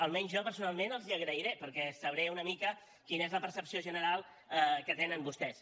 almenys jo personalment els ho agrairé perquè sabré una mica quina és la percepció general que tenen vostès